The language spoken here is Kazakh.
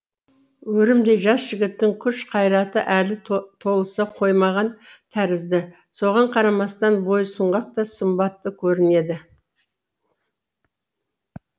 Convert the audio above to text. өрімдей жас жігіттің күш қайраты әлі толыса қоймаған тәрізді соған қарамастан бойы сұңғақ та сымбатты көрінеді